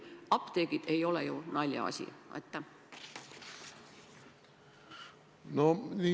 Apteegid ei ole ju naljaasi.